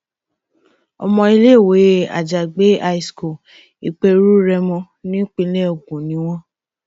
ọmọ iléèwé àjàgbé high school ìperú rèmọ nípínlẹ ogun ni wọn